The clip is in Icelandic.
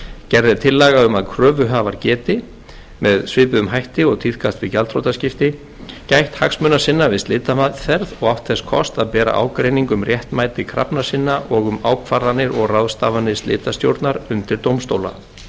gerð er tillaga um að kröfuhafar geti með svipuðum hætti og tíðkast við gjaldþrotaskipti gætt hagsmuna sinna við slitameðferð og átt þess kost að bera ágreining um réttmæti krafna sinna og um ákvarðanir og ráðstafanir slitastjórnar undir dómstóla þá eru